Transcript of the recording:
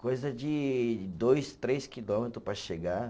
coisa de dois, três quilômetros para chegar.